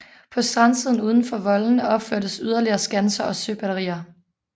På strandsiden udenfor voldene opførtes yderligere skanser og søbatterier